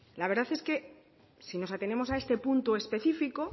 la verdad es que si nos atenemos a este punto específico